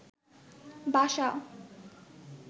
বাসা